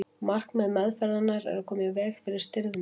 markmið meðferðarinnar er að koma í veg fyrir stirðnun